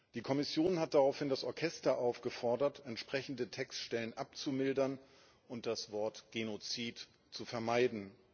Die Kommission hat daraufhin das Orchester aufgefordert, entsprechende Textstellen abzumildern und das Wort Genozid zu vermeiden.